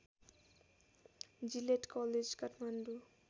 Gillette college Kathmandu